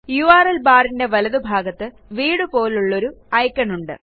URL barന്റെ വലതുഭാഗത്ത് വീടുപോലുള്ള ഒരു ഐക്കോൺ ഉണ്ട്